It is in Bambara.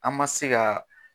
An ma se ka.